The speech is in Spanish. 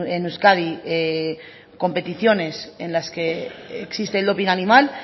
en euskadi competiciones en las que existe el doping animal